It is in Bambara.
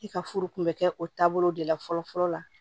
I ka furu kun bɛ kɛ o taabolo de la fɔlɔ fɔlɔ la